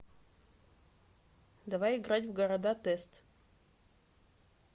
давай играть в города тест